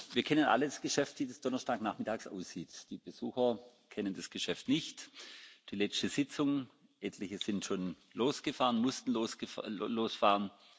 Wir kennen alle das Geschäft, wie das donnerstagsnachmittags aussieht. Die Besucher kennen das Geschäft nicht. Die letzte Sitzung etliche sind schon losgefahren, mussten losfahren.